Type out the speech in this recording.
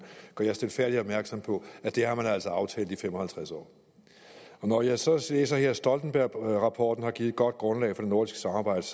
gør jeg stilfærdigt opmærksom på at det har man altså aftalt i fem og halvtreds år når jeg så så læser her at stoltenbergrapporten har givet et godt grundlag for det nordiske samarbejde